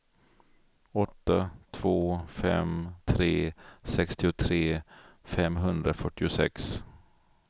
åtta två fem tre sextiotre femhundrafyrtiosex